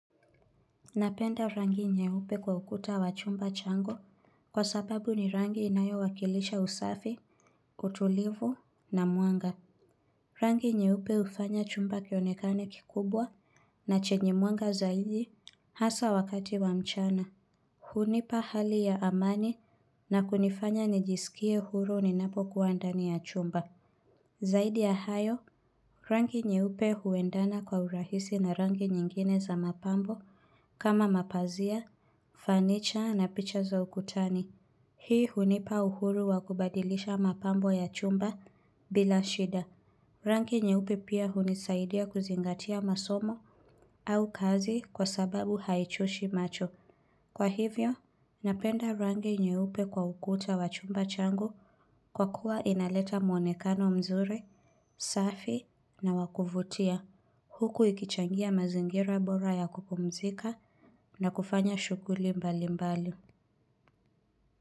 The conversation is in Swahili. Napenda rangi nye upe kwa ukuta wa chumba changu kwa sababu ni rangi inayo wakilisha usafi, utulivu na muanga. Rangi nye upe ufanya chumba kionekane kikubwa na chenye muanga zaidi hasa wakati wa mchana. Hunipa hali ya amani na kunifanya nijisikie huru ni napo kuwandani ya chumba. Zaidi ya hayo, rangi nyeupe huendana kwa urahisi na rangi nyingine za mapambo kama mapazia. Fanicha na picha za ukutani Hii hunipa uhuru wakubadilisha mapambo ya chumba bila shida Rangi nye upe pia hunisaidia kuzingatia masomo au kazi kwa sababu haichoshi macho Kwa hivyo, napenda rangi nye upe kwa ukuta wachumba changu kwa kuwa inaleta mwonekano mzuri, safi na wakuvutia Huku ikichangia mazingira bora ya kupumzika na kufanya shughuli mbali mbali.